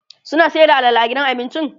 suna Sayar da alala a gidan abincin?